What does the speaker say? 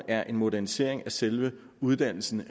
er en modernisering af selve uddannelsen